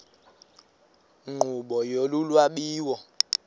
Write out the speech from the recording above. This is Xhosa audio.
nkqubo yolu lwabiwo